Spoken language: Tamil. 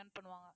earn பண்ணுவாங்க